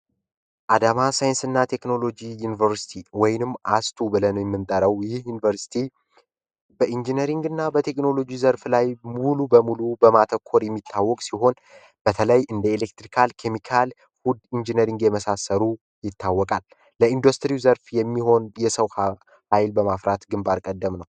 አዳማ ሳይንስና ቴክኖሎጂ ዩኒቨርሲቲ ወይም አስቱ ብለን ምንጠራው ይህ ዩኒቨርስቲ በቴክኖሎጂ እና ኢንጂነሪንግ ዘርፍ ላይ ሙሉ በሙሉ በማተኮር የሚታወቅ ሲሆን በተለይም እንደ የኤሌክትሪካል፣ መካኒካል፣ እና ፉድ ኢንጅነሪንግ የመሳሰሉ ዘርፎች ይታወቃል። ዘርፍ ለኢንዱስትሪ የሚሆኑ የሰው ኃይል በማፍራት ግንባር ቀደም ነው።